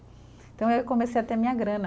Então, eu comecei a ter minha grana.